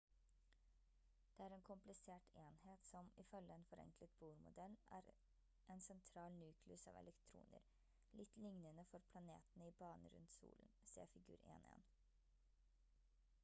det er en komplisert enhet som ifølge en forenklet bohr-modell er en sentral nukleus av elektroner litt lignende for planetene i banen rundt solen se figur 1.1